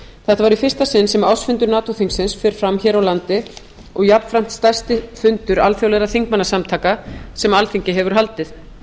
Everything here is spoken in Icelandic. þetta var í fyrsta sinn sem ársfundur nato þingsins fer fram hér á landi og jafnframt stærsti fundur alþjóðlegra þingmannasamtaka sem alþingi hefur haldið